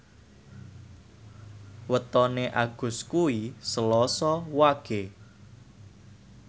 wetone Agus kuwi Selasa Wage